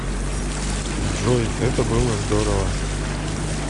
джой это было здорово